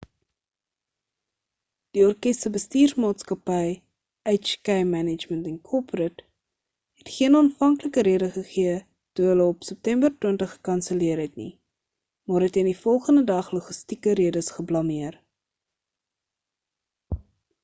die orkes se bestuursmaatskappy hk management inc het geen aanvanklike rede gegee toe hulle op september 20 gekanselleer het nie maar het teen die volgende dag logistieke redes geblameer